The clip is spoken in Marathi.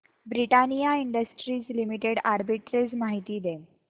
ब्रिटानिया इंडस्ट्रीज लिमिटेड आर्बिट्रेज माहिती दे